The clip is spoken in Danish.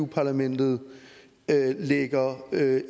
parlamentet lægger